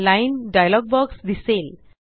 line dialog box दिसेल